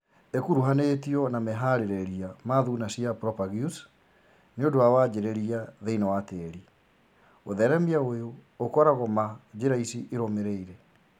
ĩkũruhanĩtio na meharĩrĩria ma thuna cia propagules nĩũndũ wa wanjĩrĩria thĩinĩ wa tĩri. ũtheremia ũyũ ũkoragwo ma njĩra ici irũmĩrĩire